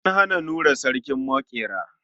An naɗa Nura sarkin maƙera.